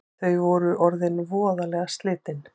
Þau eru orðin voðalega slitin